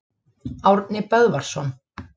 Árni Böðvarsson.